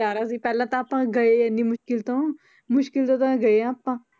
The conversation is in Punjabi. ਸਰਾਰਾ ਸੀ ਪਹਿਲਾਂ ਤਾਂ ਆਪਾਂ ਗਏ ਇੰਨੀ ਮੁਸ਼ਕਲ ਤੋਂ ਮੁਸ਼ਕਲ ਤੋਂ ਤਾਂ ਗਏ ਹਾਂ ਆਪਾਂ।